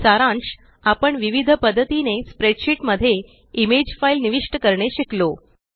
सारांश आपण विविध पद्धतीने स्प्रेडशीट मध्ये इमेज फाइल निविष्ट करणे शिकलो